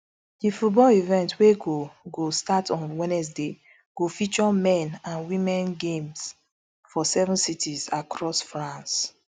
di football event wey go go start on wednesday go feature men and women games for seven cities across france